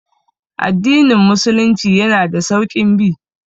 Addinin musulunci yana da sauƙin bi